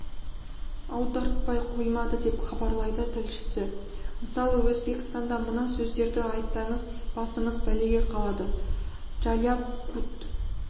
аудартпай қоймады деп хабарлайды тілшісі мысалы өзбекстанда мына сөздерді айтсаңыз басыңыз бәлеге қалады джаляб кут